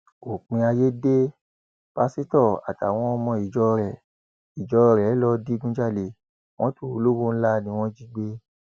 òpin ayé dé pásítọ àtàwọn ọmọ ìjọ rẹ ìjọ rẹ lọọ digunjalè mọtò olówó ńlá ni wọn jí gbé